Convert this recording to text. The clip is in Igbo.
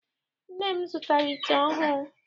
Nne m zụtara ite ọhụụ.